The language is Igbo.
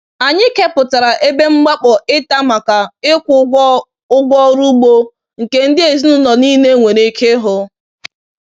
Anyị kepụtara ebe mkpakọr ịta maka ịkwụ ụgwọ ụgwọ ọrụ ugbo nke ndị ezinụlọ niile nwere ike ịhụ.